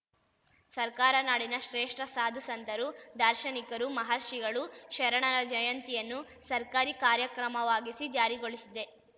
ಸರ್ಕಾರ ನಾಡಿನ ಶ್ರೇಷ್ಠ ಸಾಧು ಸಂತರು ದಾರ್ಶನಿಕರು ಮಹರ್ಷಿಗಳು ಶರಣರ ಜಯಂತಿಯನ್ನು ಸರ್ಕಾರಿ ಕಾರ್ಯಕ್ರಮವಾಗಿಸಿ ಜಾರಿಗೊಳಿಸಿದೆ